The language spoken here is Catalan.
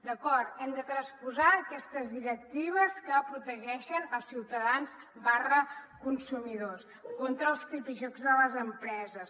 d’acord hem de transposar aquestes directives que protegeixen els ciutadans consumidors contra els tripijocs de les empreses